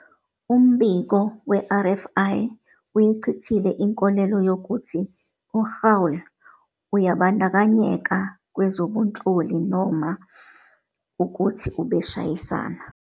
Umbiko we-RFI uyichithile inkolelo yokuthi "uGaul" uyabandakanyeka kwezobunhloli noma ukuthi ubeshayisana.